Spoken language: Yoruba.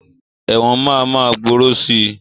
Ẹ̀wọ̀n máa ma gbòòrò sii